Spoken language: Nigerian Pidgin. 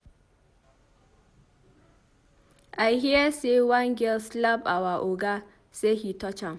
I hear say one girl slap our Oga say he touch am.